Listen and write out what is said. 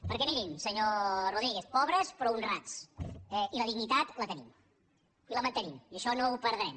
perquè mirin senyor rodríguez pobres però honrats i la dignitat la tenim i la mantenim i això no ho perdrem